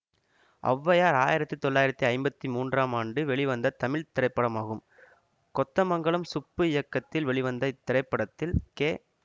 ஔவையார் ஆயிரத்தி தொள்ளாயிரத்தி ஐம்பத்தி மூன்றாம் ஆண்டு வெளிவந்த தமிழ் திரைப்படமாகும் கொத்தமங்கலம் சுப்பு இயக்கத்தில் வெளிவந்த இத்திரைப்படத்தில் கே